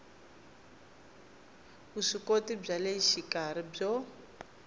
vuswikoti bya le xikarhi byo